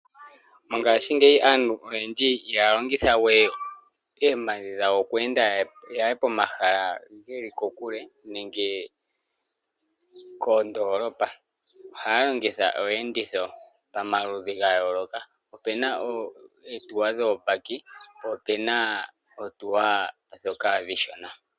Mongaashi ngeyi aantu oyendji ihaya longithwe oompadhi dhawo oku enda yaye pomahala geli kokule nenge koondolopa ohaya longitha iiyenditho pamaludhi ya yooloka opena oohawuto dhoobaki po opuna oohawuto ndhoka oonshona.